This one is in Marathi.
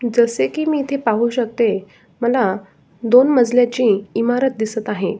जसे कि मी इथ पाहू शकते मला दोन मजल्याची इमारत दिसत आहे.